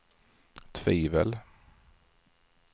tvivel